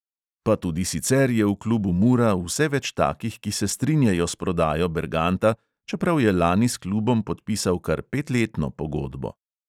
Pa tudi sicer je v klubu mura vse več takih, ki se strinjajo s prodajo berganta, čeprav je lani s klubom podpisal kar petletno pogodbo.